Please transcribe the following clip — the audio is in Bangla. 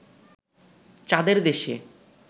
চাঁদের দেশে